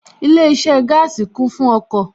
Ilé iṣẹ́ gaasi kún fún ọkọ̀